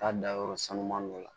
Taa dayɔrɔ sanu dɔ la